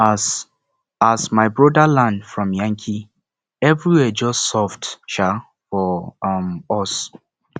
as as my broda land from yankee everywhere just soft um for um us